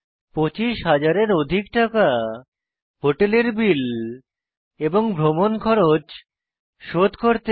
25000 এর অধিক টাকা হোটেল বিল এবং ভ্রমণ খরচ শোধ করতে